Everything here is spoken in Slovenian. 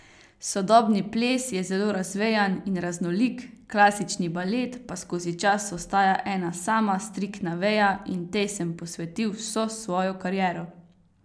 Sodobni ples je zelo razvejan in raznolik, klasični balet pa skozi čas ostaja ena sama striktna veja in tej sem posvetil vso svojo kariero.